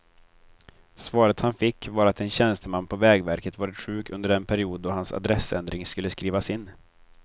Svaret han fick var att en tjänsteman på vägverket varit sjuk under den period då hans adressändring skulle skrivas in.